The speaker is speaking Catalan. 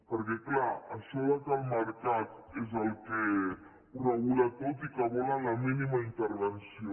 perquè clar això que el mercat és el que ho regula tot i que volen la mínima intervenció